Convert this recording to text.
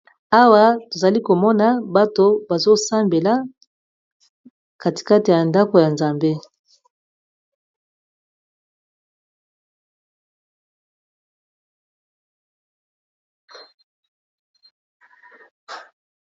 Awa tozali komona bato bazo sambela katikate ya ndako ya nzambe.